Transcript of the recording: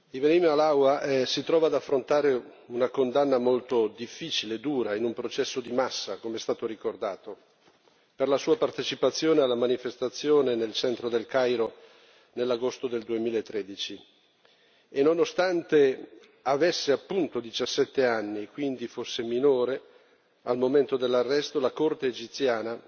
Signor Presidente, onorevoli colleghi, Ibrahim Halawa si trova ad affrontare una condanna molto difficile e dura in un processo di massa, come è stato ricordato, per la sua partecipazione alla manifestazione nel centro del Cairo nell'agosto del 2013 e, nonostante avesse 17 anni e quindi fosse minore al momento dell'arresto, la Corte egiziana